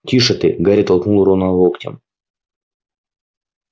тише ты гарри толкнул рона локтем